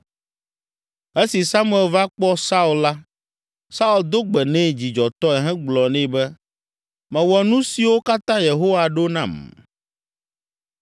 Esi Samuel va kpɔ Saul la, Saul do gbe nɛ dzidzɔtɔe hegblɔ nɛ ne, “Mewɔ nu siwo katã Yehowa ɖo nam!”